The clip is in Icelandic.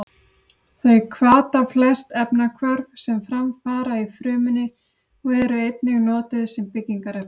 Þau hvata flest efnahvörf sem fram fara í frumunni og eru einnig notuð sem byggingarefni.